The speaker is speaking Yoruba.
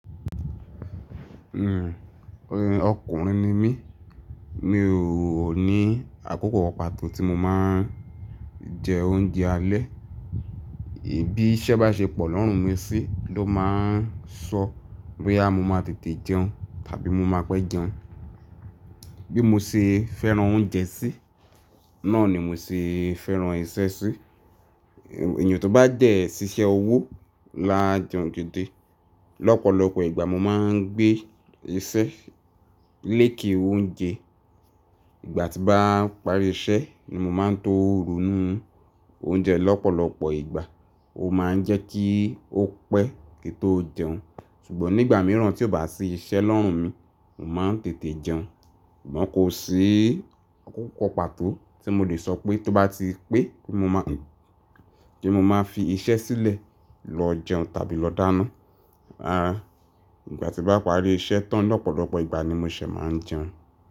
Ọkùnrin ni mí, mi ò ní àkókò kan pàtó tí mo máa ń jẹ oúnjẹ alẹ́. Bí iṣẹ́ bá ṣe pọ̀ lọ́rùn mi sí ló máa ń sọ boya mo máa tètè jẹun tàbí mo máa pẹ́ jẹun. Bí mo ṣe fẹ́ràn oúnjẹ sí, náà ni mo ṣe fẹ́ràn iṣẹ́ sí. Èèyàn tó bá dẹ ṣíṣe owó lá jeun gidi, lọ́pọ̀lọpọ̀ ìgbà mo máa ń gbé iṣẹ́ léèkè oúnjẹ. Ìgbà tí bá parí iṣẹ́ ni mo máa ń to ronu oúnjẹ lọ́pọ̀lọpọ̀ ìgbà ó máa ń jẹ́ kí ó pẹ́ kí n tó jẹun. Ṣùgbọ́n nígbà mìíràn tí ò bá sí iṣẹ́ lọ́rùn mi, mò maa ń tètè jẹun. Ṣùgbọ́n kò sí àkókò pàtó tí mo le sọ pé tó bá ti pé pé mo máa fi iṣẹ́ sílẹ̀ lọ jẹun tàbí lọ dáná. Àáa, ìgbà tí bá parí iṣẹ́ tán lọ́pọ̀lọpọ̀ ìgbà ni mo ṣẹ̀ máa ń jẹun.